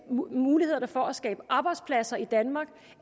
mulighederne for at skabe arbejdspladser i danmark